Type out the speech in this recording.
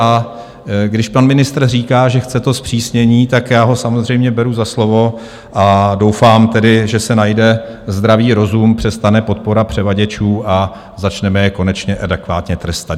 A když pan ministr říká, že chce to zpřísnění, tak já ho samozřejmě beru za slovo a doufám tedy, že se najde zdravý rozum, přestane podpora převaděčů a začneme je konečně adekvátně trestat.